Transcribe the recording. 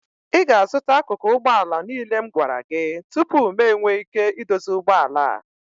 ị ga-azụta akụkụ ụgbọ ala niile m gwara gị tupu m enwee ike idozi ụgbọ ala a